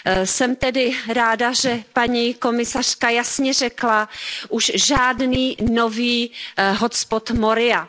Jsem tedy ráda, že paní komisařka jasně řekla Už žádný nový hotspot Moria!.